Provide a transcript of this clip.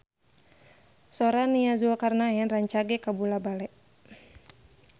Sora Nia Zulkarnaen rancage kabula-bale